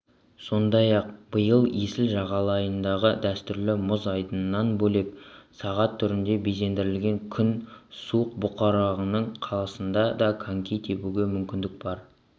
сондай-ақ биыл есіл жағалайындағы дәстүрлі мұз айдынынан бөлек сағат түрінде безендірілген күн субұрқағының қасында да коньки тебуге мүмкіндік бар